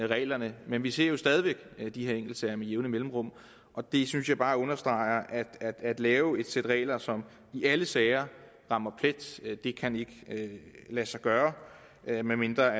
reglerne men vi ser stadig væk de her enkeltsager med jævne mellemrum og det synes jeg bare understreger at det at lave et sæt regler som i alle sager rammer plet ikke kan lade sig gøre medmindre